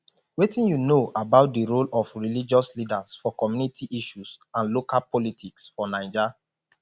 wetin you know about di role of religious leaders for community issues and local politics for naija